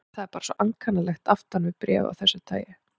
Það er bara svo ankannalegt aftan við bréf af þessu tagi.